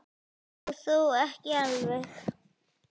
Og þó ekki alveg.